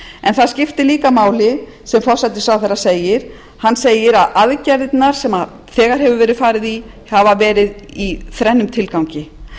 en það skiptir líka máli sem forsætisráðherra segir hann segir að aðgerðirnar sem þegar hefur verið farið í hafi verið í þrennum tilgangi